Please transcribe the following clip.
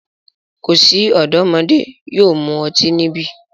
Ko si ọdọmodẹ yóò mu ọti nibi!